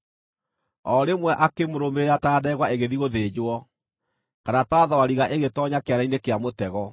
O rĩmwe akĩmũrũmĩrĩra ta ndegwa ĩgĩthiĩ gũthĩnjwo, kana ta thwariga ĩgĩtoonya kĩana-inĩ kĩa mũtego,